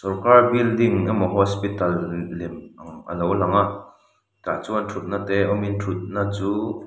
sorkar building emaw lem a lo lang a tah chuan thutna te awm in thutna chu --